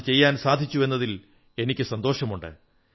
അത് ചെയ്യാൻ സാധിച്ചു എന്നതിൽ എനിക്ക് സന്തോഷമുണ്ട്